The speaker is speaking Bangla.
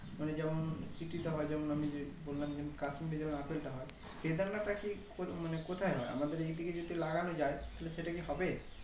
মানে যেমন শিকিত হওয়া যেমন আমি যে বললাম kasmir এ যেমন আপেলটা হয় বেদানাটা কি উম মানে কোথায় হয় আমাদের এই দিকে যদি লাগানো যাই তাহলে সেটাকি হবে